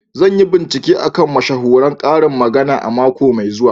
Zan yi bincike a kan mashahuran karin magana a mako mai zuwa.